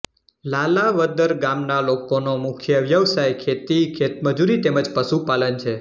લાલાવદર ગામના લોકોનો મુખ્ય વ્યવસાય ખેતી ખેતમજૂરી તેમ જ પશુપાલન છે